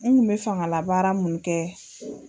An kun be fangalabaara mun kɛ